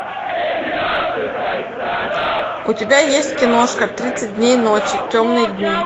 у тебя есть киношка тридцать дней ночи темные дни